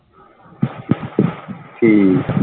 ਠੀਕ ਆ।